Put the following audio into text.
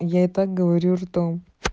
я и так говорю жду